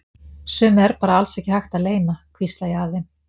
Sumu er bara alls ekki hægt að leyna, hvísla ég að þeim.